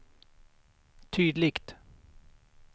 tydligt